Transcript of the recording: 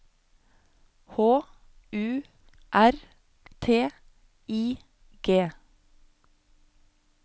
H U R T I G